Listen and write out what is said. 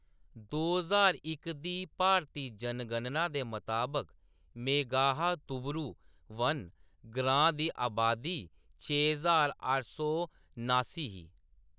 दो ज्हार इक दी भारती जनगणना दे मताबक, मेघाहातुबुरु वन ग्रांऽ दी अबादी छे ज्हार अट्ठ सौ नास्सीं ही।